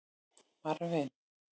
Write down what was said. Marvin